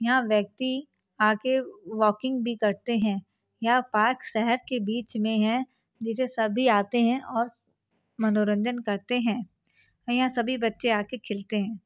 यह व्यक्ति आ के वॉकिंग भी करते हैं यह पार्क शहर के बीच में है जिसे सभी आते हैं और मनोरंजन करते हैं यहा सभी बच्चे आ के खेलते हैं।